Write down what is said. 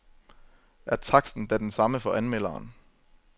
Og er taksten da den samme som for anmelderen ?